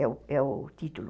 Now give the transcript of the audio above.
É o é o título.